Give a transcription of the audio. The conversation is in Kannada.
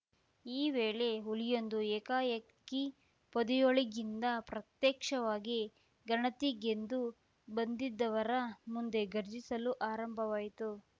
ಈ ವೇಳೆ ಹುಲಿಯೊಂದು ಏಕಾಏಕಿ ಪೊದೆಯೊಳಗಿಂದ ಪ್ರತ್ಯಕ್ಷವಾಗಿ ಗಣತಿಗೆಂದು ಬಂದಿದ್ದವರ ಮುಂದೆ ಘರ್ಜಿಸಲು ಆರಂಭಿವಾಯಿತು